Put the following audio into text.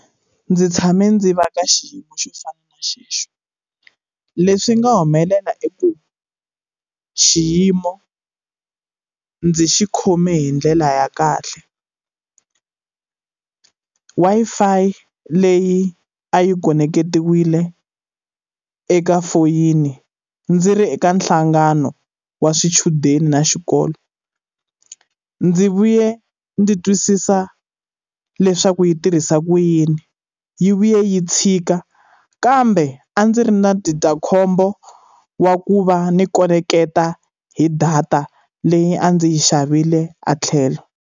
Ndzi tshame ndzi va ka xiyimo xo fana na xexo. Leswi nga humelela i ku, xiyimo ndzi xi khome hi ndlela ya kahle Wi-Fi leyi a yi khoneketiwile eka foyini ndzi ri eka nhlangano wa swichudeni na xikolo, ndzi vuye ndzi twisisa leswaku yi tirhisa ku yini. Yi vuye yi tshika, kambe a ndzi ri na ndzindzakhombo wa ku va ni khoneketa hi data leyi a ndzi yi xavile a tlhelo.